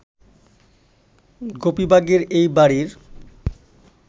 গোপীবাগের এই বাড়ির